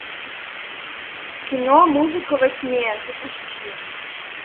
кино музыка во тьме запусти